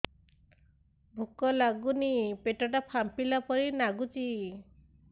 ଭୁକ ଲାଗୁନି ପେଟ ଟା ଫାମ୍ପିଲା ପରି ନାଗୁଚି